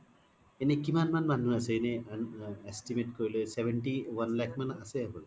এনে কিমান মান মানুহ আছে এনে estimate কৰিলে seventy one লাখ মান আছে হ'বলা